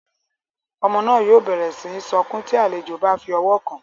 Ọmọ náà yóò bẹrẹ síi sọkun ti àlejò bá fí ọwọ kàn